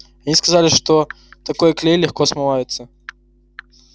они сказали что такой клей легко смывается